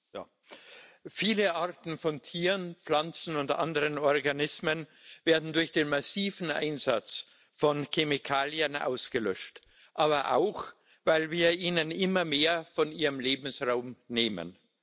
Herr Präsident! Viele Arten von Tieren, Pflanzen und anderen Organismen werden durch den massiven Einsatz von Chemikalien ausgelöscht, aber auch, weil wir ihnen immer mehr von ihrem Lebensraum nehmen.